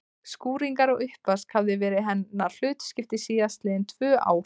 Skúringar og uppvask hafði verið hennar hlutskipti síðast liðin tvö ár.